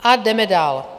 A jdeme dál.